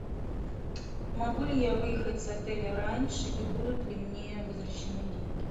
могу ли я выехать с отеля раньше и будут ли мне возвращены деньги